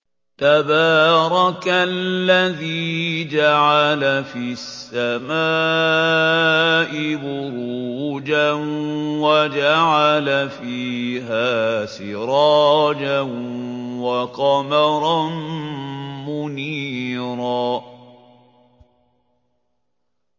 تَبَارَكَ الَّذِي جَعَلَ فِي السَّمَاءِ بُرُوجًا وَجَعَلَ فِيهَا سِرَاجًا وَقَمَرًا مُّنِيرًا